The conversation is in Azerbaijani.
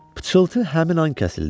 Pıçıltı həmin an kəsildi.